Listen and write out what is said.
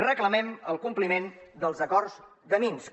reclamem el compliment dels acords de minsk